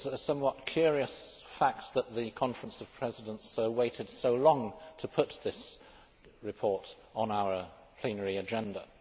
It is a somewhat curious fact that the Conference of Presidents waited so long to put this report on our plenary agenda.